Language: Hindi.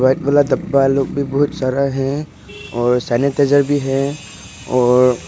डब्बा लोग भी बहुत सारा है और सैनिटाइजर भी है और--